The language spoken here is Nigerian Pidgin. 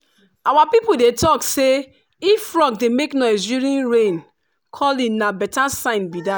our people dey talk say if frog dey make noise during rain-calling na better sign be that.